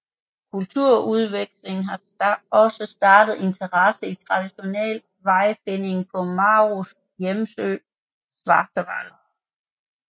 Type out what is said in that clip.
Kulturudvekslingen har også startet interesse i traditionel vejfinding på Maus hjemø Satawal